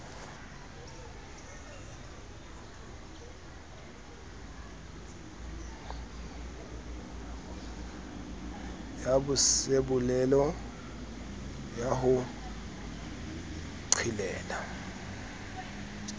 ya bosebolelo ya ho qhelela